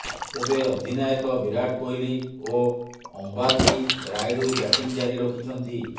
ତେବେ ଅଧିନାୟକ ବିରାଟ କୋହଲି ଓ ଅମ୍ବାତି ରାୟୁଡୁ ବ୍ୟାଟିଂ ଜାରି ରଖିଛନ୍ତି